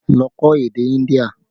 Lọ kọ́ èdè India!